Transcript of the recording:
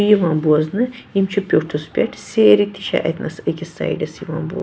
.یِوان بوزنہٕ یِم چھ پیٛوٹھس پٮ۪ٹھ سیرِتہِ چھ اتہِ نس أکِس سایڈس یِوان بوزنہٕ